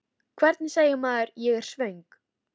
Hvernig segir maður: Ég er svöng?